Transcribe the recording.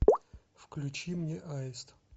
включи мне аист